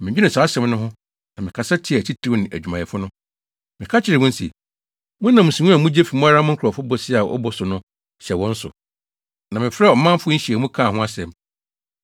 Medwenee saa asɛm no ho, na mekasa tiaa atitiriw ne adwumayɛfo no. Meka kyerɛɛ wɔn se, “Monam nsiho a mugye fi mo ara mo nkurɔfo bosea a wɔbɔ so no hyɛ wɔn so.” Na mefrɛɛ ɔmanfo nhyiamu kaa ho asɛm.